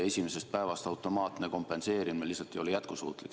Esimesest päevast automaatne kompenseerimine lihtsalt ei ole jätkusuutlik.